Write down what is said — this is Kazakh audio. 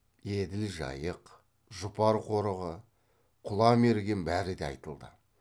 еділ жайық жұпар қорығы құла мерген бәрі де айтылды